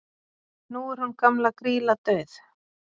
nú er hún gamla grýla dauð